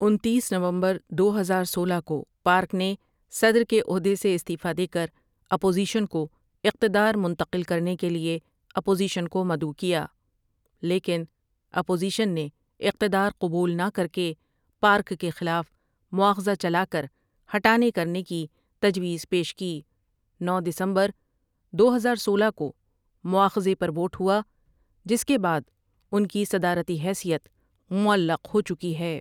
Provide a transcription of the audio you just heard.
انتیس نومبر دو ہزار سولہ کو پارک نے صدر کے عہدے سے استعفا دے کر اپوزیشن کو اقتدار منتقل کرنے کے لیے اپوزیشن کو مدعو کیا لیکن اپوزیشن نے اقتدار قبول نہ کرکے پارک کے خلاف مواخذہ چلا کر ہٹانے کرنے کی تجویز پیش کی نو دسمبر دو ہزار سولہ کومواخذے پر ووٹ ہوا جس کے بعد ان کی صدارتی حیثیت معلق ہو چکی ہے۔